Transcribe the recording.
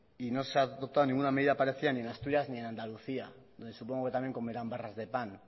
y no se ha adoptado ninguna medida parecida ni en asturias ni en andalucía y supongo que también comerán barras de pan